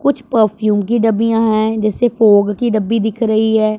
कुछ परफ्यूम की डब्बियां हैं जैसे फोग की डब्बी दिख रही है।